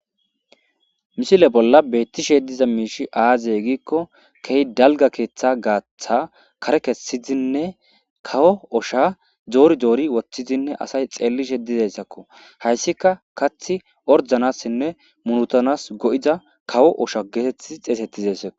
misile bolla beettishe diza miishi aazey giikko kehi dalga keeththa gaatha kare kessidinne kawo osha doori doori woththidinne asay xeellishe dizayssakko hayssika kath ordanassinne munutanas go7ida kawo osha geetettii xeesettizassao